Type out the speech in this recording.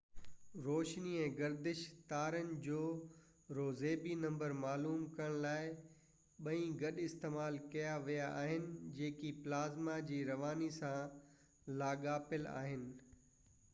روشني ۽ گردش تارن جو روزبي نمبر معلوم ڪرڻ لاءِ ٻئي گڏ استعمال ڪيا ويا آهن جيڪي پلازما جي رواني سان لاڳاپيل آهن